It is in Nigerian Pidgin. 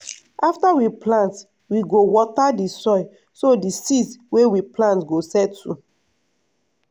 after we plant we go water the soil so di seeds wey we plant go settle.